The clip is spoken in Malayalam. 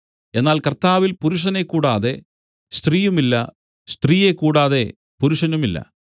എന്നാൽ കർത്താവിൽ പുരുഷനെ കൂടാതെ സ്ത്രീയുമില്ല സ്ത്രീയെ കൂടാതെ പുരുഷനുമില്ല